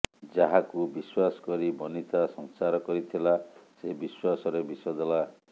ଯାହାକୁ ବିଶ୍ୱାସ କରି ବନିତା ସଂସାର କରିଥିଲା ସେ ବିଶ୍ୱାସ ରେ ବିଷ ଦେଲା